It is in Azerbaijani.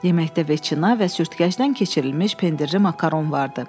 Yeməkdə veçina və sürtkəcdən keçirilmiş pendirli makaron vardı.